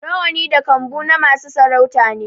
Rawani da kambu na masu sarauta ne